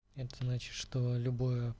это значит что любое